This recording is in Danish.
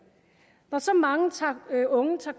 når så mange unge tager